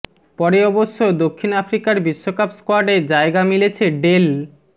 পরে অবশ্য দক্ষিণ আফ্রিকার বিশ্বকাপ স্কোয়াডে জায়গা মিলেছে ডেল